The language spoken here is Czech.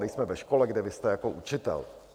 Nejsme ve škole, kde vy jste jako učitel.